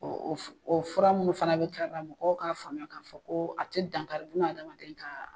Ɔ fura minnu fana bɛ dilanna, o k'a faamuya k'a fɔ ko a tɛ dankari bun admden ka